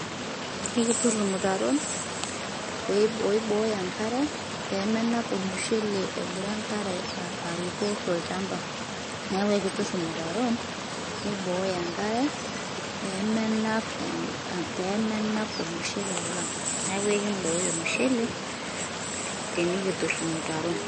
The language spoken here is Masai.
ekitur ilmutaron. oiboyo enkare pemenap olmushele engira enkare aruko tolchamba, niaku ekitur ilmutaron niboyo enkare, pemenap pemenap olmushele lang, niaku ekiboyo olmushele tenikitur ilmutaron.